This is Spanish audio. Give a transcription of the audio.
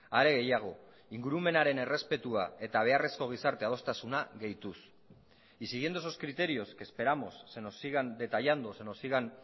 are gehiago ingurumenaren errespetua eta beharrezko gizarte adostasuna gehituz y siguiendo esos criterios que esperamos se nos sigan detallando se nos sigan